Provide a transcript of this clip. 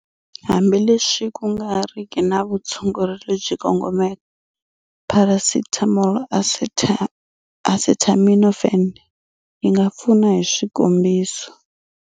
Hambi leswi ku nga riki na vutshunguri lebyi kongomeke, pharasetamoli, acetaminophen, yi nga pfuna hi swikombiso.